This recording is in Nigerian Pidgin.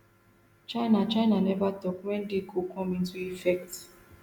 china china neva tok wen di go come into effect